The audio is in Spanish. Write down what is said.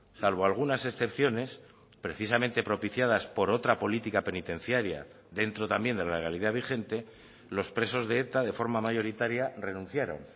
salvo algunas excepciones precisamente propiciadas por otra política penitenciaria dentro también de la legalidad vigente los presos de eta de forma mayoritaria renunciaron